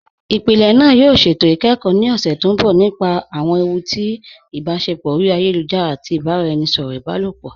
Ìpílẹ̀ náà yóò ṣétò ikẹ́kọ ni ọṣẹ̀ tó nbọ̀ nípa awọn èwù tì ibáṣẹpọ̀ ori ayélujara àti ibaràẹnisọ̀rọ ibàlọpọ.